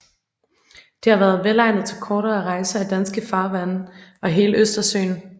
Det har været velegnet til kortere rejser i danske farvande og i hele Østersøen